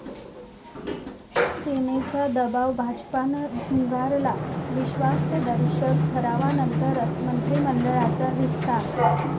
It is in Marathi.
सेनेचा दबाव भाजपनं झुगारला, विश्वासदर्शक ठरावानंतरच मंत्रिमंडळाचा विस्तार'